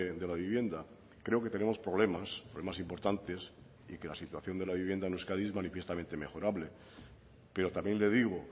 de la vivienda creo que tenemos problemas problemas importantes y que la situación de la vivienda en euskadi es manifiestamente mejorable pero también le digo